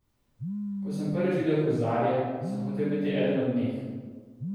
Ko sem prvič videl huzarje, sem hotel biti eden od njih.